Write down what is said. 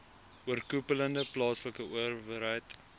oorkoepelende plaaslike owerheid